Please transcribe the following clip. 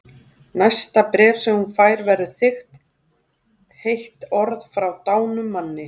Næsta bréf sem hún fær verður þykkt, heit orð frá dánum manni.